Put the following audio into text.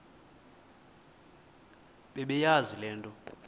bebeyazi le nto